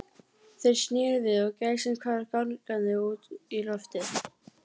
Ég yppti öxlum og gjóaði augunum á Stínu.